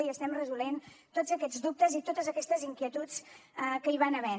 i estem resolent tots aquests dubtes i totes aquestes inquietuds que hi va havent